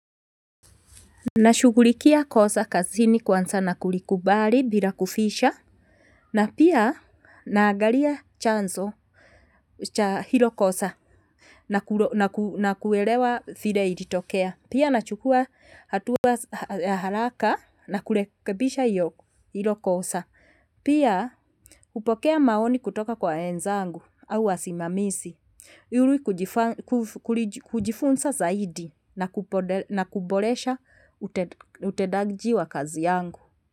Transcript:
Nashughulikia kosa kazini kwanza na kulikubari bila kuficha. Na pia naagaria chanzo cha hilo kosa. Na kuelewa file ilitokea. Pia nachukua hatua haraka na kulekebisha hilo kosa. Pia upokea maoni kutoka kwa wenzangu au wasimamisi iri kujifunsa zaidi na kuboresha utedaji wa kazi yangu.